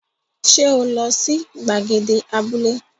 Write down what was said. Ṣé o lọ sí gbàgede abúlé?